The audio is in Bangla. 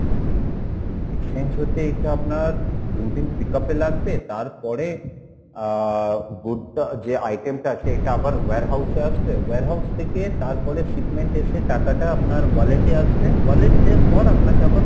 exchange হতে এইটা আপনার দু দিন pickup এ লাগবে তার পরে আহ good টা যে item টা আছে এটা আবার warehouse এ আসবে, warehouse থেকে তারপরে shipment এ এসে টাকা টা আপনার wallet এ আসবে, wallet এর পর আপনাকে আবার